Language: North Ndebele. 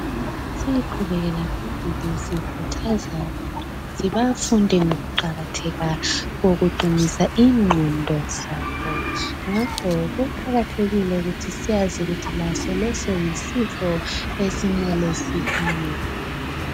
Siqhubekele phambili sikhuthaza abantu ukuthi bafunde ngokuqakatheka kokukuqinisa ingqondo zabo ngakho kuqakathekile ukuthi sazi ukuthi laso lesi yisigo okumele sikhangelwe.